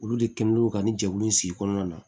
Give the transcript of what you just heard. Olu de kɛlen don ka ni jɛkulu in sigi kɔnɔna na